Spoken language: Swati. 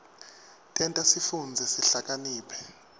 tenta sifundze sihlakaniphe